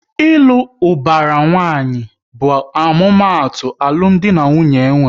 Ịlụ ubara nwanyi bụ omumatu alụmdi na nwunye enwere